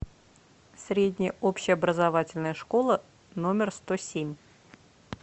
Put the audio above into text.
средняя общеобразовательная школа номер сто семь